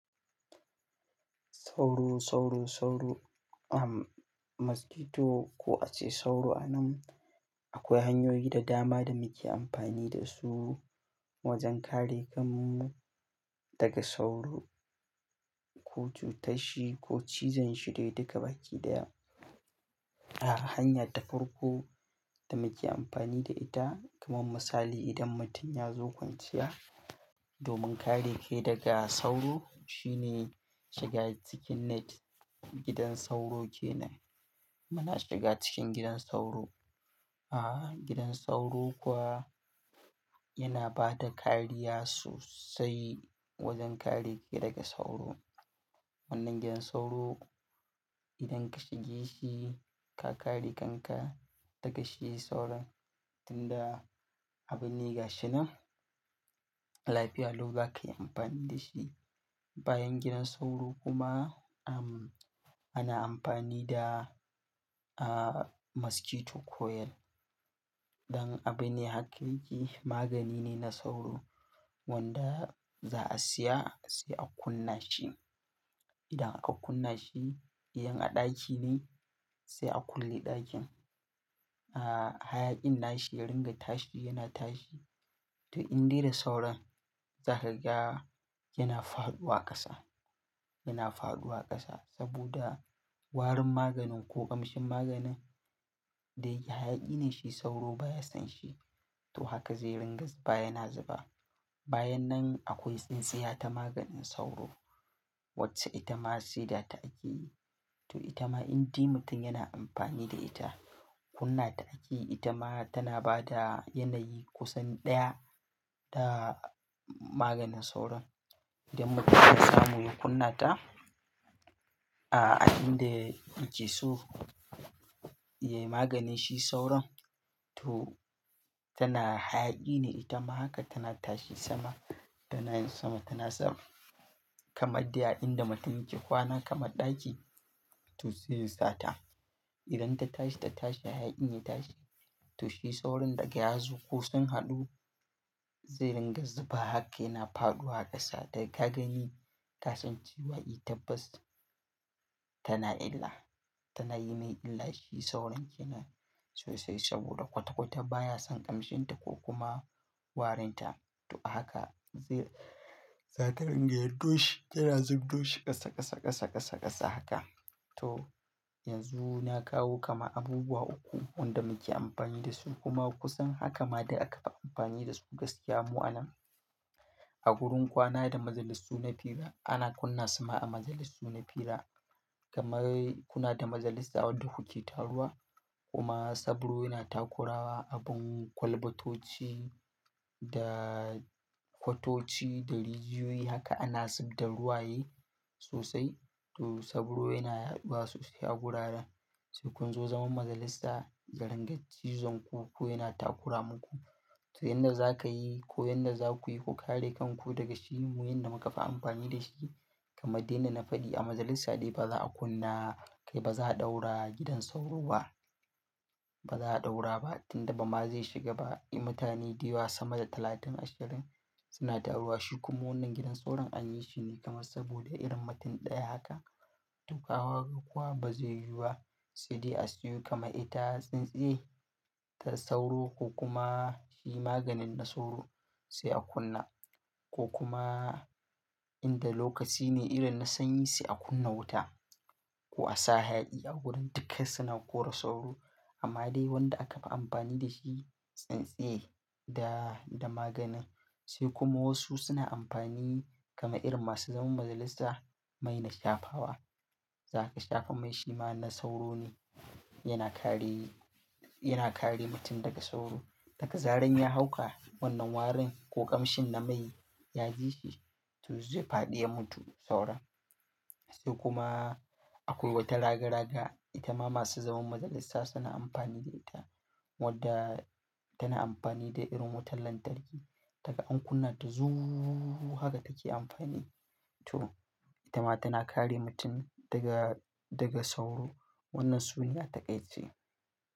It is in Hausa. Sauru, sauru, sauru, um, mosquito ko a ce sauro a nan. Akwai hanyoyi da dama da muke amfani da su wajen kare kanmu daga sauro ko cutarshi ko cizan shi da duka baki daya. A'a, hanya ta farko da muke amfani da ita, kamar misali idan mutum ya zo kwanciya domin kare kai daga sauro shine shiga cikin net. Gidan sauro kenan. Muna shiga cikin gidan sauro. A'a, gidan sauro kuwa yana ba da kariya sosai wajen kare ki daga sauro. Wannan gidan sauro idan ka shige shi ka kare kanka daga shi sauron tunda abin ne ga shi nan. Lafiya lau za ka yi amfani da shi. Bayan gidan sauro kuma, um, ana amfani da, ah, mosquito coil. Dan abin ne haka yake, magani ne na sauro wanda za a siya sai a kunna shi. Idan aka kunna shi, in a ɗaki ne sai a kulle ɗakin. A'a, hayaƙin nashi ya ringa tashi yana tashi. To in dai da sauron za ka ga yana faɗuwa ƙasa, yana faɗuwa ƙasa saboda warin maganin ko ƙamshin maganin da yake hayaƙi ne shi sauro baya son shi. To haka zai ringa zuba yana zuba. Bayan nan akwai tsintsiya ta maganin sauro wacce ita ma sai da ta ake yi. To ita ma in dai mutum yana amfani da ita, kunna ta ake yi. Ita ma tana ba da yanayi kusan ɗaya da maganin sauron idan mutum ya samu ya kunna ta. A'a, a inda yake so. Eh maganin shi sauron to tana hayaƙi ne ita ma haka tana tashi sama, tana yin sama tana sama. Kamar dai a inda mutum yake kwana kamar ɗaki to sai ya sata. Idan ta tashi ta tashi hayaƙi ya tashi. To shi sauron daga yazu ko sun haɗu zai ringa zuba haka yana faɗuwa ƙasa. Da ka gani kasan cewa tabbas tana illa, tana yi mai illa. Shi sauron kenan sosai saboda kwata-kwata baya son ƙamshin ta ko kuma warin ta. To ahaka zai, za ta ringa yaɗo shi, yana zubdo shi ƙasa ƙasa ƙasa ƙasa ƙasa haka. To yanzu na kawo kama abubuwa uku wanda muke amfani da su kuma kusan haka ma da aka fi amfani da su gaskiya mu a nan. A wurin kwana da majalisu na fira ana kunna suma a majalisu na fira kamar kuna da majalisa wadda kuke taruwa kuma sabro yana takurawa abun kwalbatoci da kwatoci da rijiyoyi haka ana zub da ruwa ye sosai. To sabro yana yaɗuwa sosai a wuraren. Sai kun zo zaman majalisa yadinga cizan ku ko yana takura muku. To yanda za ka yi ko yanda za ku yi, ku kare kan ku daga shi mu yanda muka fi amfani da shi kamar dai na fadi a majalisa dai ba za a kunna kai ba za a ɗaura gidan sauro ba. Ba za a ɗaura ba tunda ba ma zai shiga ba. Mutane dayawa sama da talatin ashirin suna taruwa shi kuma wannan gidan sauron anyi shine kama saboda irin mutum ɗaya haka. To kaga kuwa ba zai yiwu ba sai dai a siyo kama ita tsintsiye ta sauro ko kuma shi maganin na sauro sai a kunna. Ko kuma inda lokaci ne idan na sanyi sai a kunna wuta ko a sa hayaƙi a wurin dukai suna korar sauro. Amma dai wanda aka fi amfani da shi tsintsiye da, da magani. Sai kuma wasu suna amfani kama irin masu zaman majalisa mai na shafawa. Za ka shafa mai shi ma na sauro ne. Yana kare, yana kare mutum daga sauro. Daga zaran ya hauka wannan warin ko ƙamshin na mai ya ji shi to zai faɗi ya mutu sauron. Sai kuma akwai wata ragaraga ita ma masu zaman majalisasa suna amfani da ita. Wanda tana amfani da irin wutar lantarki. Taga an kunna ta zuuuu haka take amfani. To ita ma tana kare mutum daga, daga sauro. Wannan su ne atakai ce.